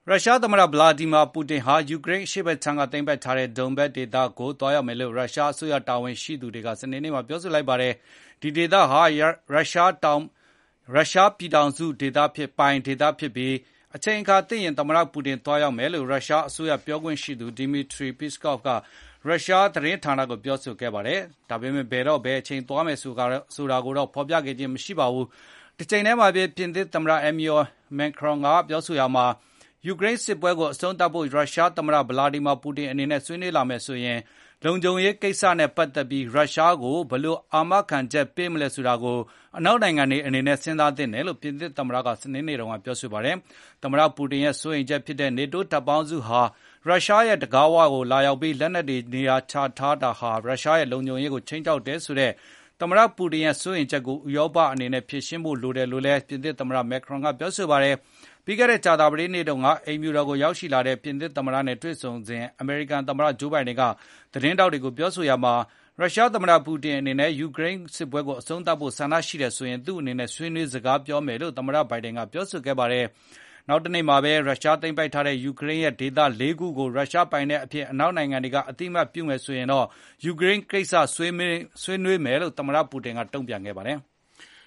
ရုရှားသမ္မတ ဗလာဒီမာပူတင် ဟာ ယူကရိန်း အရှေ့ဖက်ခြမ်းက သိမ်းပိုက်ထားတဲ့ Donbas ဒေသကိုသွား ရောက်မယ်လို့ ရုရှားအစိုးရ တာဝန်ရှိသူတွေက စနေနေ့မှာ ပြောဆိုလိုက်ပါတယ်။ ဒီဒေသဟာ ရုရှားပြည်ထောင်စုပိုင် ဒေသဖြစ်ပြီး အချိန်အခါသင့်ရင် သမ္မတ ပူတင် သွားရောက်မယ်လို့ ရုရှားအစိုးရ ပြောရေးဆိုခွင့်ရှိသူ Dmitry Peskov က ရုရှားသတင်းဌာနကို ပြောဆိုခဲ့ပါတယ်။ ဒါပေမယ့် ဘယ်တော့သွားမယ်ဆိုတာ ကိုတော့ ဖေါ်ပြခြင်းမရှိပါဘူး။ တချိန်ထဲမှာဘဲ ပြင်သစ်သမ္မတ Emmanuel Macron ကေ ပြာဆိုရာမှာ ယူကရိန်းစစ်ပွဲကိုအဆုံးသတ်ဖို့ ရုရှားသမ္မတ ဗလာဒီမာပူတင် အနေနဲ့ ဆွေးနွေးလာမယ်ဆိုရင် လုံခြုံရေးကိစ္စနဲ့ ပတ်သက်ပြီး ရုရှားကို ဘယ်လို အာမခံချက်ပေးမလဲ ဆိုတာကို အနောက်နိုင်ငံတွေ အနေနဲ့ စဉ်းစားသင့်တယ်လို့ ပြင်သစ်သမ္မတ က စနေနေ့ ကပြောဆိုခဲ့ပါတယ်။ သမ္မတ ပူတင် ရဲ့ စိုးရိမ်ချက်ဖြစ်တဲ့ NATO တပ်ပေါင်းစုဟာ ရုရှားရဲ့ တံခါး၀ ကို ရောက်လာပြီး၊ လက်နက်တွေ နေရာချထား တာဟာရုရှားရဲ့ လုံခြုံရေးကို ခြိမ်းခြောက်တယ်ဆိုတဲ့ သမ္မတပူတင် ရဲ့စိုးရိမ်ချက်ကို ဥရောပအနေနဲ့ ဖြေရှင်းဖို့ လိုတယ်လို့လည်း ပြင်သစ်သမ္မတ Macron က ပြောဆိုခဲ့ပါတယ်။ ပြီးခဲ့တဲ့ ကြာသပတေးနေ့တုန်းက အိမ်ဖြူတော် ကိုရောက်ရှိလာတဲ့ ပြင်သစ်သမ္မတ နဲ့ တွေ့ဆုံစဉ် အမေရိကန်သမ္မတ ဂျိုးဘိုင်ဒင် က သတင်းထောက်တွေကို ပြောဆိုရာမှာ ရုရှားသမ္မတ ပူတင် အနေနဲ့ ယူကရိန်းစစ်ပွဲကို အဆုံးသတ်ဖို့ ဆန္ဒရှိ တယ်ဆိုရင်သူ့အနေနဲ့ ဆွေးနွေးသွားပြောမယ်လို့ သမ္မတ ဘိုင်ဒင် က ပြောဆိုခဲ့ပါတယ်။ နောက်တနေမှာတော ရုရှား သိမ်းပိုက်ထားတဲ့ယူကရိန်းရဲ့ဒေသ ၄ ခုကို ရုရှားပိုင်နက်အဖြစ် အနောက်နိုင်ငံတွေကအသိအမှတ်ပြုရင် ယူကရိန်း ကိစ္စဆွေး နွေးမယ်လို့ သမတပူတင်ကတုန့်ပြန်ခဲ့ပါတယ်။